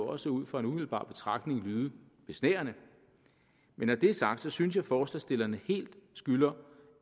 også ud fra en umiddelbar betragtning lyde besnærende men når det er sagt synes jeg forslagsstillerne helt skylder